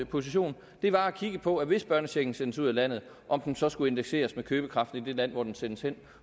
position var at kigge på at hvis børnechecken sendes ud af landet om den så skulle indekseres med købekraften i det land hvor den sendes hen